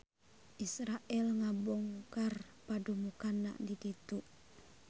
Israel ngabongkar padumukanna di ditu